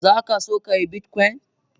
Zakaso ka yi bitcoin?